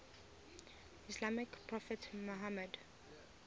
islamic prophet muhammad